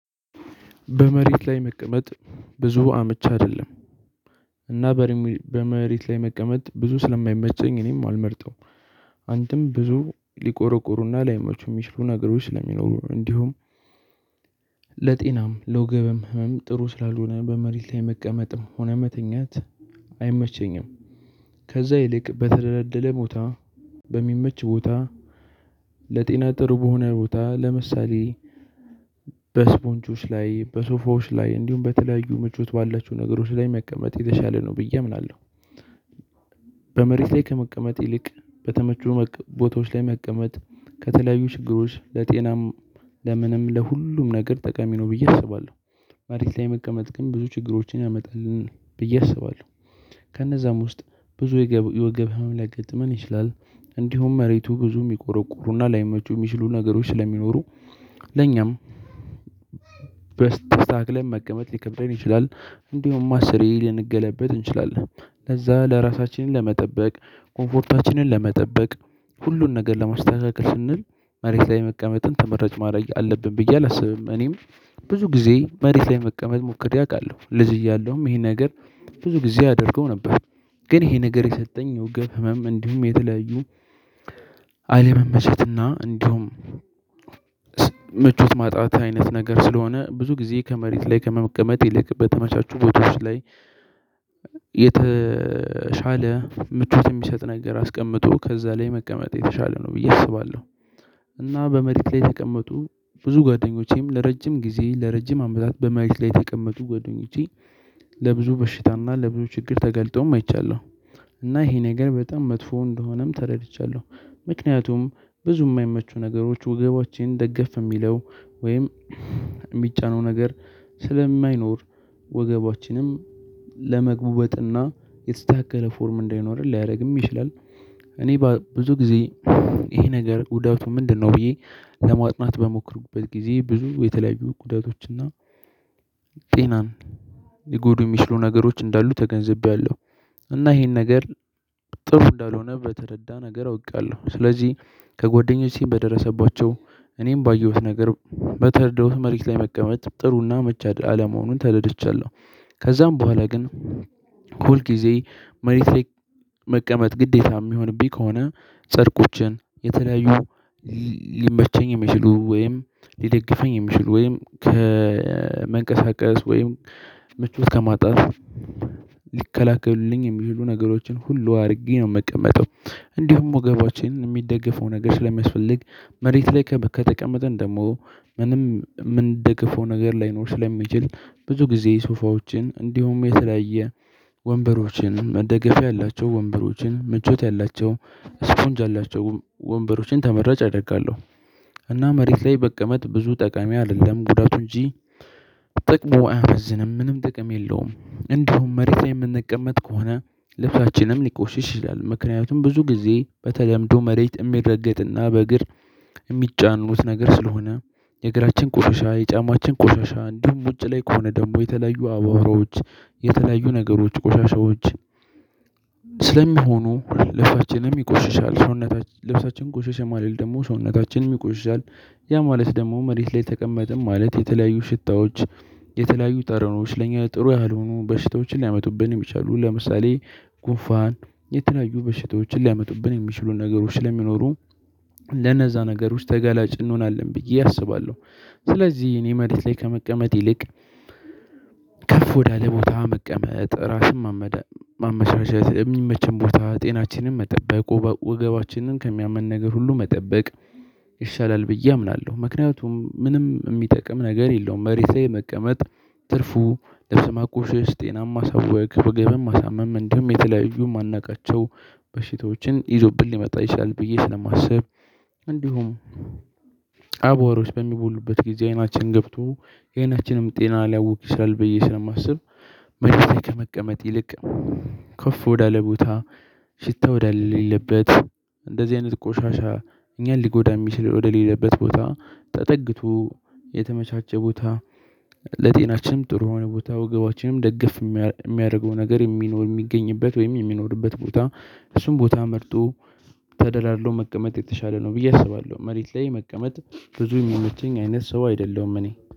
በመሬት ላይ መቀመጥ ብዙ አመቺ አይደለም። እና በሪሙ በመሬት ላይ መቀመጥ ብዙ ስለማይመቸኝ እኔም አልመርጠው አንተም ብዙ ሊቆረቁሩህና ላይመቹ የሚችሉ ነገሮች ስለሚኖሩ ነው። እንዲሁም ለጤናም ለወገበም ህመም ጥሩ ስላልሆነ በመሬት ላይ መቀመጥም ሆነ መተኛት አይመቸኝም። ከዛ ይልቅ በተደለደለ ቦታ በሚመች ቦታ ለጤና ጥሩ በሆነ ቦታ ለምሳሌ በስፖንጆች ላይ በሶፋዎች ላይ እንዲሁም በተለያዩ ምቹት ባላችሁ ነገሮች ላይ መቀመጥ የተሻለ ነው ብዬ አምናለሁ። በመሬት ላይ ከመቀመጥ ይልቅ በተመቸ ቦታዎች ላይ መቀመጥ ከተለያዩ ችግሮች ለጤናም ለምንም ለሁሉም ነገር ጠቀሚ ነው ብዬ አስባለሁ። መሬት ላይ መቀመጥ ግን ብዙ ችግሮችን ያመጣልን ብዬ አስባለሁ። ከእነዛም ውስጥ ብዙ የወገብ ህመም ሊያገጥመን ይችላል እንዲሁም መሬቱ ብዙ የሚቆረቁሩና ላይመቹ የሚችሉ ነገሮች ስለሚኖሩ ለኛም ተስተካክለን መቀመጥ ሊከብደን ይችላል። እንዲሁም አስር ሊንገለበጥ እንችላለን ለዛ ለራሳችንን ለመጠበቅ ኮምፎርታችንን ለመጠበቅ ሁሉን ነገር ለማስተካከል ስንል መሬት ላይ መቀመጥን ተመራጭ ማድረግ አለብን ብዬ አላስብም። እኔም ብዙ ጊዜ መሬት ላይ መቀመጥ ሞክሬ አውቃለሁ ልጅ እያለሁም ይሄን ነገር ብዙ ጊዜ አደርገው ነበር። ግን ይሄ ነገር የሰጠኝ የወገብ ህመም እንዲሁም የተለዩ አለመመቸትና እንዲሁም ምቹት ማጣት አይነት ነገር ስለሆነ ብዙ ጊዜ ከመሬት ላይ ከመቀመጥ ይልቅ በተመቻቹ ቦታዎች ላይ የተሻለ ምቹት የሚሰጥ ነገር አስቀምጦ ከዛ ላይ መቀመጥ የተሻለ ነው ብዬ አስባለሁ። እና በመሬት ላይ የተቀመጡ ብዙ ጓደኞቼም ለረጅም ጊዜ ለረጅም አመታት በማሬት ላይ የተቀመጡ ጓደኞቼ ለብዙ በሽታና ለብዙ ችግር ተገልጠውም አይቻለሁ። እና ይሄ ነገር በጣም መጥፎ እንደሆነም ተረድቻለሁ። ምክንያቱም ብዙ የማይመቹ ነገሮች ወገባችን ደገፍ የሚለው ወይም የሚጫነው ነገር ስለማይኖር ወገባችንም ለመጉበጥና የተስታከለ ፎርም እንዳይኖር ሊያደርግም ይችላል። እኔ ብዙ ጊዜ ይሄ ነገር ጉዳቱ ምንድነው? ብዬ ለማጥናት በሞክሩበት ጊዜ ብዙ የተለያዩ ጉዳቶችና ጤናን ሊጎዱ የሚችሉ ነገሮች እንዳሉ ተገንዝቤለሁ። እና ይሄን ነገር ጥሩ እንዳልሆነ በተረዳ ነገር አውቃለሁ ስለዚህ ከጎደኞች በደረሰባቸው እኔም ባየሁት ነገር በተርደውት መሬት ላይ መቀመጥ ጥሩና አመቺ አይደለ አለመሆኑን ተረድቻለሁ። ከዛም በኋላ ግን ሁል ጊዜ መሬት ላይ መቀመጥ ግዴታ የሚሆንብኝ ከሆነ ጨርቆችን የተለያዩ ሊመቸኝ የሚችሉ ወይም ሊደግፈኝ የሚችሉ ወይም ከመንቀሳቀስ ወይም ምቾት ከማጣት ሊከላከሉልኝ የሚሉ ነገሮችን ሁሉ አድርጌ ነው የምቀመጠው። እንዲሁም ወገባችንን የሚደግፈው ነገር ስለሚያስፈልግ መሬት ላይ ከተቀመጥን ደግሞ ምንም የምንደገፈው ነገር ላይኖር ስለሚችል ብዙ ጊዜ ሶፋዎችን እንዲሁም የተለያየ ወንበሮችን መደገፊያ ያላቸው ወንበሮችን ምቾት ያላቸው ስፖንጅ ያላቸው ወንበሮችን ተመራጭ አደርጋለሁ። እና መሬት ላይ መቀመጥ ብዙ ጠቀሚ አይደለም ጉዳቱ እንጂ ጥቅሙ አያመዝንም። ምንም ጥቅም የለውም። እንዲሁም መሬት የምንቀመጥ ከሆነ ልብሳችንም ሊቆሽሽ ይችላል ምክንያቱም ብዙ ጊዜ በተለምዶ መሬት የሚረገጥና በእግር የሚጫኑት ነገር ስለሆነ የእግራችን ቆሻሻ የጫማችን ቆሻሻ እንዲሁም ውጪ ላይ ከሆነ ደግሞ የተለዩ አቧራዎች የተለያዩ ነገሮች ቆሻሻዎች ስለሚሆኑ ልብሳችንንም ይቆሽሻል ሰውነት ልብሳችን ቆሽሻ ማለት ደግሞ ሰውነታችንም ይቆሽሻል። ያ ማለት ደግሞ መሬት ላይ ተቀመጥም ማለት የተለያዩ ሽታዎች የተለያዩ ጠረኖች ለኛ ጥሩ ያልሆኖ በሽታዎችን ሊያመጡብን እችላለሁ ለምሳሌ ጉንፋን የተለያዩ በሽታዎችን ሊያመጡብን የሚችሉ ነገሮች ስለሚኖሩ ለነዛ ነገሮች ተገላጭ እንሆናለን ብዬ አስባለሁ። ስለዚህ እኔ መሬት ላይ ከመቀመጥ ይልቅ ከፍ ወዳለ ቦታ መቀመጥ ራስን ማመ ማመቻቸት የሚመቸን ቦታ ጤናችንን መጠበቅ ወገባችንን ከሚያመን ነገር ሁሉ መጠበቅ ይሻላል ብዬ አምናለሁ። ምክንያቱም ምንም የሚጠቅም ነገር የለውም መሬት ላይ መቀመጥ። ትርፉ ልብስ ማቆሽሽ ጤናማ ሳወቅ ወገብን መሳመም እንደውም የተለያዩ ማናቃቸው በሽታዎችን ይዞብን ሊመጣ ይችላል ብዬ ስለማስብ። እንዲሁም አቧሮች በሚቦኑበት ጊዜ አይናችን ገብቶ የአይናችንን ጤና ሊያውክ ይችላል ብዬ ስለማስብ። መሬት ላይ ከመቀመጥ ይልቅ ከፍ ወዳለ ቦታ ሽታ ወደ ሌለበት እንደዚህ አይነት ቆሻሻ እኛን ሊጎዳ የሚችል ወደ ሌለበት ቦታ ተጠግቶ የተመቻቸ ቦታ ለጤናችንም ጥሩ የሆነ ቦታ ወገባችንም ደገፍ የሚያደርገው ነገር የሚኖር የሚገኝበት ወይም የሚኖርበት ቦታ እሱን ቦታ መርጦ ተደላድሎ መቀመጥ የተሻለ ነው ብዬ አስባለሁ። መሬት ላይ መቀመጥ ብዙ የሚመቸኝ አይነት ሰው አይደለሁም እኔ